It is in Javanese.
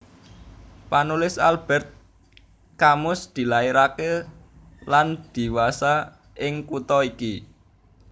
Panulis Albert Camus dilairaké lan dhiwasa ing kutha iki